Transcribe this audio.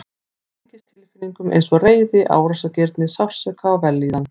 Hún tengist tilfinningum eins og reiði, árásargirni, sársauka og vellíðan.